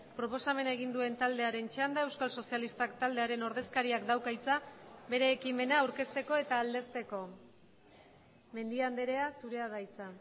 proposamena egin duen taldearen txanda euskal sozialistak taldearen ordezkariak dauka hitza bere ekimena aurkezteko eta aldezteko mendia andrea zurea da hitza